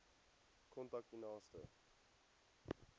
kontak u naaste